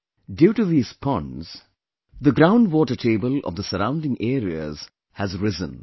Due to these ponds, the ground water table of the surrounding areas has risen